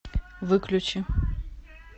выключи